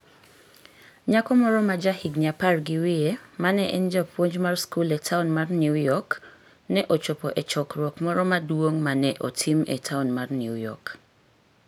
Nyako moro ma jahigni apar gi wiye ma ne en japuonj mar skul e taon mar New York, ne ochopo e chokruok moro maduong ' ma ne otim e taon mar New York